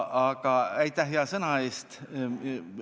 Aga aitäh hea sõna eest!